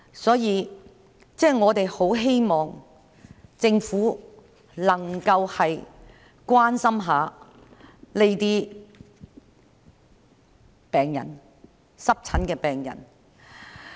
所以，我很希望政府能夠關心一下這些濕疹病人。